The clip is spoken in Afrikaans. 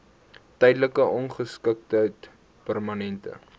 tydelike ongeskiktheid permanente